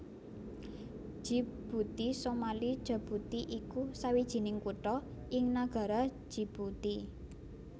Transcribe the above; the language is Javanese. Djibouti Somali Jabuuti iku sawijining kutha ing nagara Djibouti